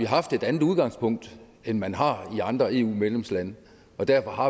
haft et andet udgangspunkt end man har i andre eu medlemslande og derfor har